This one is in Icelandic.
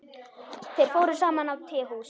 Þeir fóru saman á tehús.